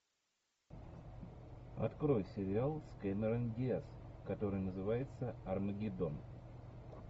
открой сериал с кэмерон диаз который называется армагеддон